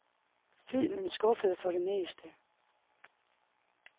Filmen skuffede for det meste.